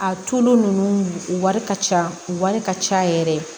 A tulu ninnu u wari ka ca u wari ka ca yɛrɛ